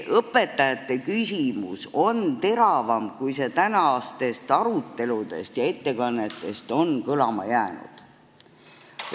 Õpetajate küsimus on teravam, kui see tänastest aruteludest ja ettekannetest on kõlama jäänud.